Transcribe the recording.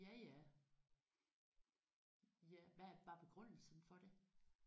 Ja ja. Hvad var begrundelsen for det?